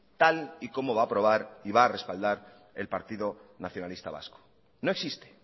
tal y como va a aprobar y va a respaldar el partido nacionalista vasco no existe